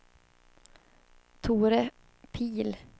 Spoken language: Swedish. Tore Pihl